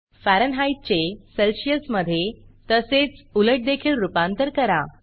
फॅरनहीटचे Celsius मधे तसेच उलट देखील रूपांतर करा